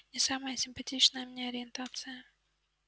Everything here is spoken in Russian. не самая симпатичная мне ориентация